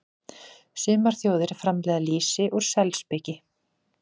Sumar þjóðir framleiða lýsi úr selspiki.